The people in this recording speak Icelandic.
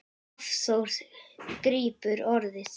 Hafþór grípur orðið.